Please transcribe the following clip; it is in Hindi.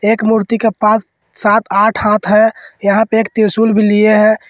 एक मूर्ति का पास सात आठ हाथ है यहां पे एक त्रिशूल भी लिए हैं।